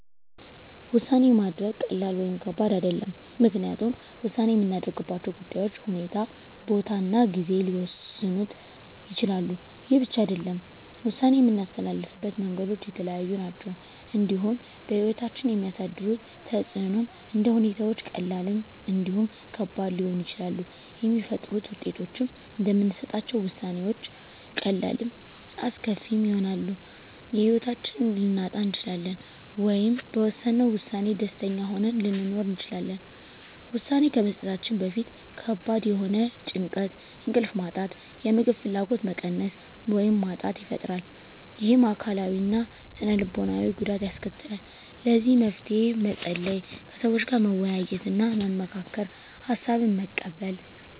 ውሳኔ ማድረግ ቀላል ወይም ከባድ አይደለም ምክንያቱም ውሳኔ የምናደርግባቸው ጉዳዮች ሁኔታ ቦታ እና ጊዜ ሊወሰኑት ይችላሉ ይህ ብቻ አይደለም ውሳኔ የምናስተላልፍበት መንገዶች የተለያዩ ናቸው እንዲሁም በህይወታችን የሚያሳድሩት ተፅእኖም እንደ ሁኔታዎች ቀላልም እንዲሁም ከባድ ሊሆኑ ይችላሉ የሚፈጥሩት ውጤቶችም እንደምንሰጣቸው ውሳኔዎች ቀላልም አስከፊም ይሆናል የህይወታችንን ልናጣ እንችላለን ወይም በወሰነው ውሳኔ ደስተኛ ሆነን ልንኖር እንችላለን ውሳኔ ከመስጠታችን በፊት ከባድ የሆነ ጭንቀት እንቅልፍ ማጣት የምግብ ፍላጎት መቀነስ ወይም ማጣት ይፈጥራል ይህም አካላዊ እና ስነ ልቦናዊ ጉዳት ያስከትላል ለዚህ መፍትሄ መፀለይ ከሰዎች ጋር መወያየትና መመካከር ሀሳብን መቀበል